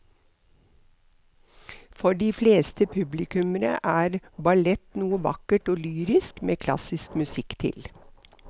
For de fleste publikummere er ballett noe vakkert og lyrisk med klassisk musikk til.